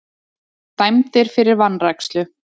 Dæmdir fyrir vanrækslu